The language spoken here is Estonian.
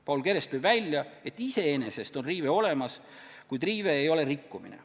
Paul Keres tõi välja, et iseenesest on siin riive olemas, kuid riive ei ole veel rikkumine.